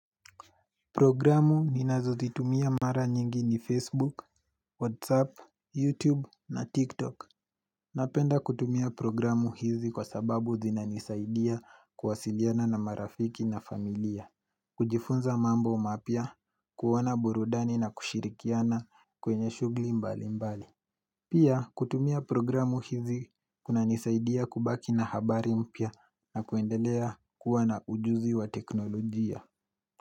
Programu ninazo zitumia mara nyingi ni Facebook, Whatsapp, Youtube na Tik Tok Napenda kutumia programu hizi kwa sababu zinanisaidia kuwasiliana na marafiki na familia kujifunza mambo mapya kuona burudani na kushirikiana kwenye shugli mbali mbali Pia kutumia programu hizi kuna nisaidia kubaki na habari mpya na kuendelea kuwana ujuzi wa teknolojia.